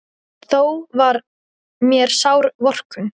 Þó var mér sár vorkunn.